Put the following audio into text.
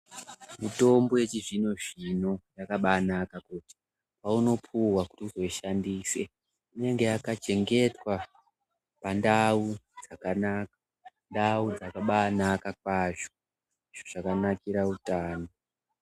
Mitombo yechizvino zvino yakabaanaka ngekuti peunopuwa kuti uzoishandise inenge yakachengetwa pandau yakanaka, ndau dzakabaanaka kwazvo, ndizvo zvakanakira utano.